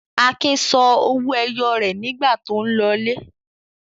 Akin sọ owó ẹyọ rẹ̀ nígbà tó ń lọlé.